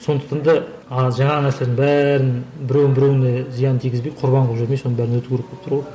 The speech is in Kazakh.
сондықтан да жаңағы нәрселердің бәрін біреуін біреуіне зиянын тигізбей құрбан қылып жүрмей соның бәрін өту керек болып тұр ғой